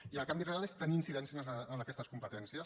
i el canvi real és tenir incidència en aquestes competències